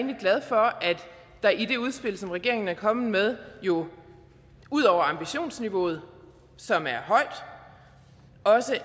der i det udspil som regeringen er kommet med jo ud over ambitionsniveauet som er